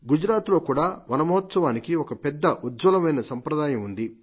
గుజరాత్ లో కూడా నమ మహోత్సవానికి ఒక పెద్ద ఉజ్వలమైన సంప్రదాయం ఉంది